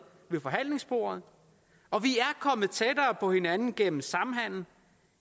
ved forhandlingsbordet og vi er kommet tættere på hinanden gennem samhandel